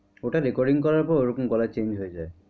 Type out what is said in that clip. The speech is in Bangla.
ওটা recording করার পর ওরকম গলা change হয়ে যায়।